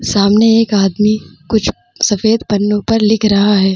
सामने एक आदमी कुछ सफ़ेद पन्नो पर लिख रहा है।